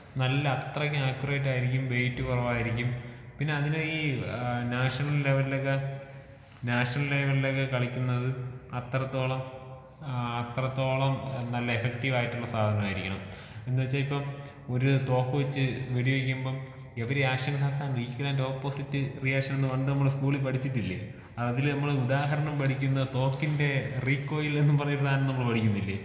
നല്ല അത്രക്ക് ആക്കുറേറ്റ് ആയിരിക്കും വെയിറ്റ് കൊറവായിരിക്കും, പിന്നെ അതിന് ഈ ഏഹ് നാഷണൽ ലെവലിലൊക്കെ നാഷണൽ ലെവലിലൊക്കെ കളിക്കുന്നത് അത്രത്തോളം ഏഹ് അത്രത്തോളം നല്ല എഫക്റ്റീവ് ആയിട്ടുള്ള സാധനമായിരിക്കണം. എന്താച്ചാ ഇപ്പം ഒരു തോക്ക് വെച്ച് വെടി വെക്കുമ്പൊ every action has an equal and opposite reaction എന്ന് പണ്ട് നമ്മള് സ്കൂളിൽ പഠിച്ചിട്ടില്ലേ? അതില് നമ്മള് ഉദാഹരണം പഠിക്കുന്നത് തോക്കിന്റെ റീക്കോയിൽ എന്ന് പറഞ്ഞൊരു സാധനം നമ്മള് പഠിക്കുന്നില്ലേ?